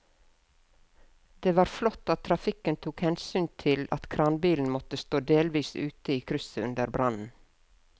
Det var flott at trafikken tok hensyn til at kranbilen måtte stå delvis ute i krysset under brannen.